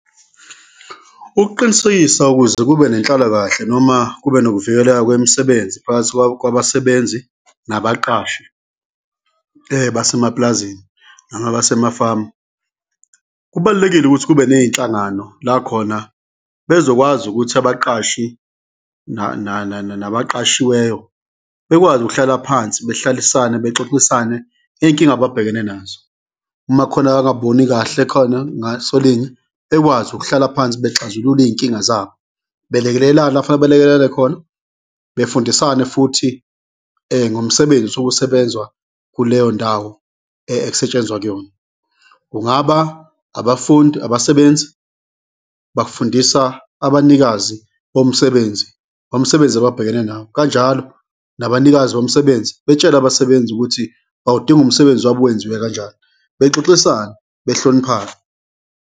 Ukuqinisekisa ukuze kube nenhlalakahle noma kube nokuvikeleka kwemisebenzi phakathi kwabasebenzi nabaqashi-ke basemapulazini noma basemafamu, kubalulekile ukuthi kube ney'nhlangano la khona bezokwazi ukuthi abaqashi nabaqashiweyo bekwazi ukuhlala phansi, behlalisane bexoxisane ngey'nkinga ababhekene nazo. Uma kukhona abangakuboni kahle khona ngasolinye, bekwazi ukuhlala phansi bexazulule iy'nkinga zabo, belekelelane la kufunele belekelelane khona, befundisane futhi ngomsebenzi osuke usebenzwa kuleyo ndawo ekusetshenzwa kuyona. Kungaba abafundi, abasebenzi bafundisa abanikazi bomsebenzi ngomsebenzi ababhekene nawo, kanjalo nabanikazi bomsebenzi betshele abasebenzi ukuthi bawudinga umsebenzi wabo uwenziwe kanjani, bexoxisane behloniphane.